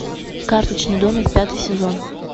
карточный домик пятый сезон